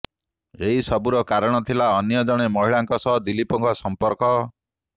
ଏସବୁର କାରଣ ଥିଲା ଅନ୍ୟ ଜଣେ ମହିଳାଙ୍କ ସହ ଦିଲୀପଙ୍କ ସଂପର୍କ